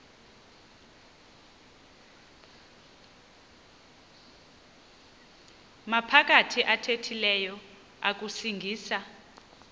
maphakathi athethileyo akusingisa